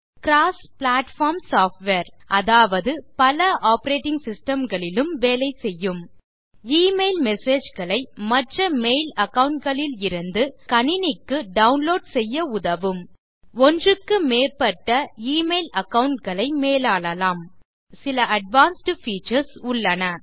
அது cross platform software அதாவது பல ஆப்பரேட்டிங் சிஸ்டம் களிலும் வேலை செய்யும் எமெயில் மெசேஜ் களை மற்ற மெயில் அகாவுண்ட் களிலிருந்து உங்கள் கணினிக்கு டவுன்லோட் செய்ய உதவும் ஒன்றுக்கு மேற்பட்ட எமெயில் அகாவுண்ட் களை மேலாளலாம் தண்டர்பர்ட் இல் சில அட்வான்ஸ்ட் பீச்சர்ஸ் உள்ளன